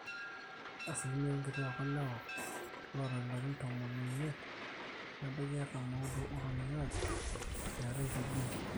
asilimia oonkituaak olewa loota ilarin tomon oimiet nebaiki artam ooudo ootoning'o ajo eetai tb